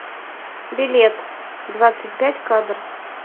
билет двадцать пять кадр